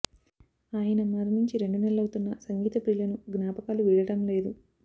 ఆయన మరణించి రెండు నెలలు అవుతున్నా సంగీత ప్రియులను జ్ఞాపకాలు వీడడం లేదు